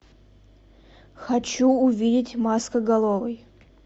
хочу увидеть маскоголовый